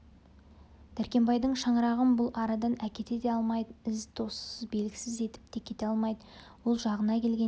дәркембайдың шаңырағын бұл арадан әкете де алмайды із-тозсыз белгісіз етіп те кете алмайды ол жағына келгенде